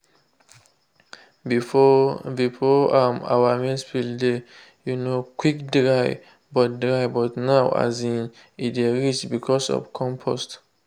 before before um our maize field dey um quick dry but dry but now um e dey rich because of compost.